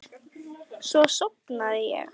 Svo sofnaði ég.